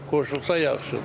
Qoşulsa yaxşıdır.